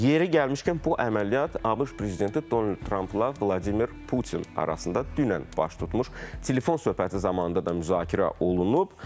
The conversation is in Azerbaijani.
Yeri gəlmişkən, bu əməliyyat ABŞ prezidenti Donald Trampla Vladimir Putin arasında dünən baş tutmuş telefon söhbəti zamanı da müzakirə olunub.